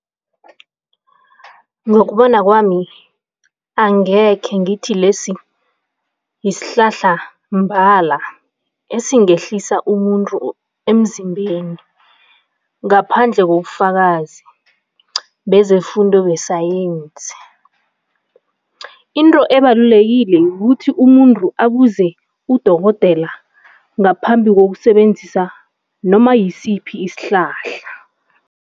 Ngokubona kwami, angekhe ngithi lesi yisihlahla mbala esingehlisa umuntu emzimbeni ngaphandle kobufakazi bezefundo besayensi. Into ebalulekileko ukuthi umuntu abuze udokotela ngaphambi kokusebenzisa noma yisiphi isihlahla.